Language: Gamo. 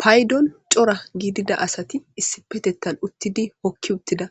Paydon cora gidida asati issi petettan uttidi hokki uttida